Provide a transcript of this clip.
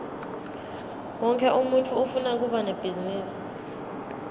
wonkhe umuntfu ufuna kuba nebhizinisi